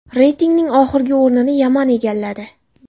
Reytingning oxirgi o‘rnini Yaman egalladi.